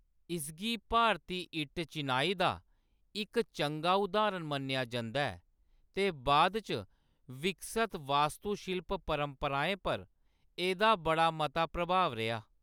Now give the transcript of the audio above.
इसगी भारती इट्ट चिनाई दा इक चंगा उदाहरण मन्नेआ जंदा ऐ ते बाद च विकसत वास्तुशिल्प परंपराएं पर एह्‌‌‌दा बड़ा मता प्रभाव रेहा।